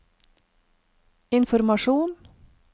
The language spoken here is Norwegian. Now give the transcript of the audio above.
informasjon